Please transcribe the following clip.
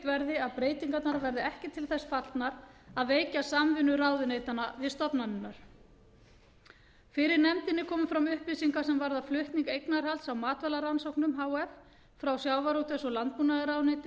verði að breytingarnar verði ekki til þess fallnar að veikja samvinnu ráðuneytanna við stofnanirnar fyrir nefndinni komu fram upplýsingar sem varða flutning eignarhalds á matvælarannsóknum h f frá sjávarútvegs og landbúnaðarráðuneyti